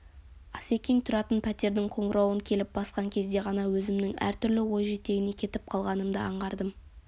асекең тұратын пәтердің қоңырауын келіп басқан кезде ғана өзімнің әртүрлі ой жетегіне кетіп қалғанымды аңғардым